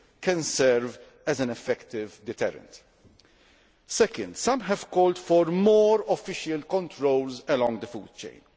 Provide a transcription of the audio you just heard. bring can serve as an effective deterrent. Secondly, some have called for more official controls along the food chain.